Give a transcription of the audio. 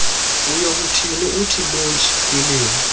uyokuthi lontshi kwiliwa